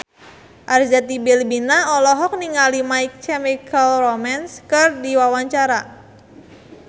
Arzetti Bilbina olohok ningali My Chemical Romance keur diwawancara